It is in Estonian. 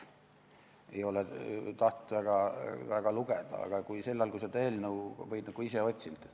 Ma ei ole tahtnud neid väga lugeda või ei ole neid ise otsinud.